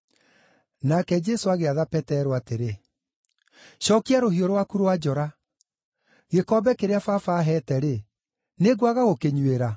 Nake Jesũ agĩatha Petero atĩrĩ, “Cookia rũhiũ rwaku rwa njora! Gĩkombe kĩrĩa Baba aaheete-rĩ, nĩngwaga gũkĩnyuĩra?”